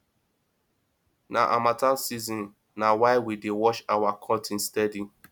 na harmattan season na why we dey wash our curtain steady